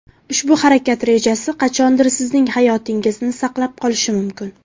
Ushbu harakat rejasi qachondir sizning hayotingizni saqlab qolishi mumkin.